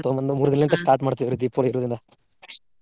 ತೊಂಬಂದು ಮೂರ start ಮಾಡ್ತೇವ್ರಿ ದೀಪ ಇಡುದೆಲ್ಲಾ .